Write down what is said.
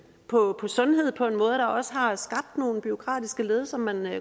på sundhed på en måde der også har skabt nogle bureaukratiske led som man